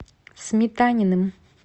сметаниным